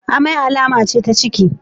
Amai alama ce ta ciki.